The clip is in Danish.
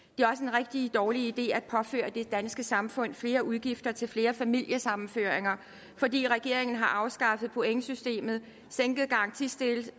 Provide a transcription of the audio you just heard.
rigtig dårlig idé at påføre det danske samfund flere udgifter til flere familiesammenføringer fordi regeringen har afskaffet pointsystemet sænket garantistillelsen